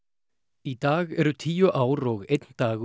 í dag eru tíu ár og einn dagur